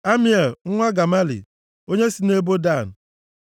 Amiel nwa Gemali, onye si nʼebo Dan.